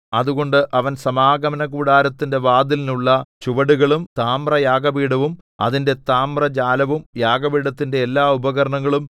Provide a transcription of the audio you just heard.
അതുകൊണ്ട് അവൻ സമാഗമനകൂടാരത്തിന്റെ വാതിലിനുള്ള ചുവടുകളും താമ്രയാഗപീഠവും അതിന്റെ താമ്രജാലവും യാഗപീഠത്തിന്റെ എല്ലാ ഉപകരണങ്ങളും